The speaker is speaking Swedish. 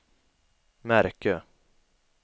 märke